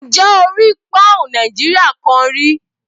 Ǹjẹ́ o rí pọ́ùn Nàìjíríà kan rí?